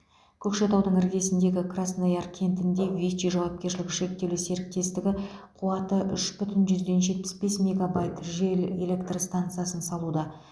көкшетаудың іргесіндегі краснояр кентінде вичи жауапкершілігі шектеулі серіктестігі қуаты үш бүтін жүзден жетпіс бес мегабайт жел электр станасы салуда